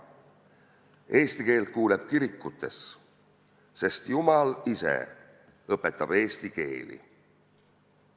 Eesti keelt kuuleb kirikutes, sest Jumal ise õpetab eesti keeli.